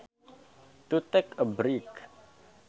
To take a break